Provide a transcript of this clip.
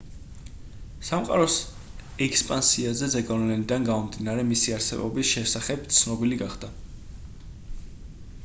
სამყაროს ექსპანსიაზე ზეგავლენიდან გამომდინარე მისი არსებობის შესახებ ცნობილი გახდა